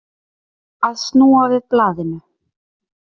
Að snúa við blaðinu